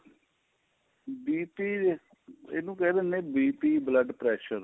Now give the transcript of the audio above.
BP ਇਹਨੂੰ ਕਹਿ ਦਿੰਨੇ ਆਂ BP blood pressure